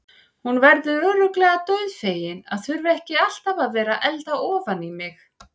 Hún verður örugglega dauðfegin að þurfa ekki alltaf að vera að elda ofan í mig.